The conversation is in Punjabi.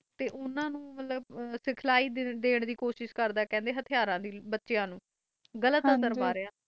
ਓਹਨਾ ਨੂੰ ਸਿਖਲਾਈ ਦਾਨ ਦੀ ਸਿਖਲਾਈ ਦਾਨ ਦੇ ਕੋਸਿਸ ਕਰ ਰਿਹਾ ਹੈ ਹਤਰ ਦੀ